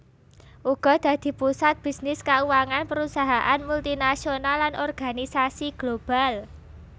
Uga dadi pusat bisnis kauangan prusahaan multinasional lan organisasi global